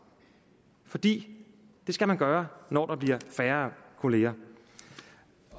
for det skal man gøre når der bliver færre kolleger